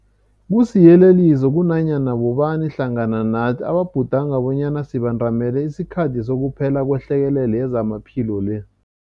Kusiyeleliso kunanyana bobani hlangana nathi ababhudanga bonyana sibandamele isikhathi sokuphela kwehlekelele yezamaphilo le.